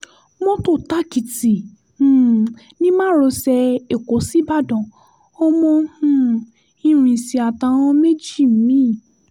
mọ́tò tàkìtì um ni márosẹ̀-èkó ṣí ibadàn ọmọ um irinṣẹ́ àtàwọn méjì mi